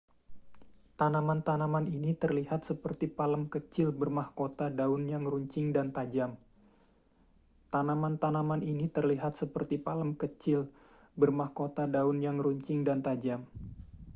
tanaman-tanaman ini terlihat seperti palem kecil bermahkota daun yang runcing dan tajam